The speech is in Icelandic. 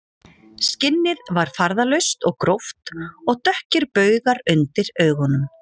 Skinnið var farðalaust og gróft og dökkir baugar undir augunum